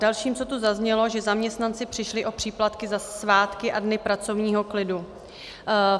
Dalším, co tu zaznělo, že zaměstnanci přišli o příplatky za svátky a dny pracovního klidu.